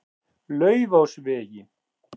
Laufásvegi